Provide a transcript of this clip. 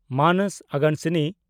ᱢᱟᱱᱚᱥ ᱟᱜᱟᱱᱟᱥᱤᱱᱤ